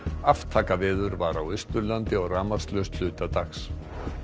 aftakaveður var á Austurlandi og rafmagnslaust hluta dags